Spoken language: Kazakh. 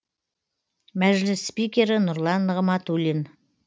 мәжіліс спикері нұрлан нығматулин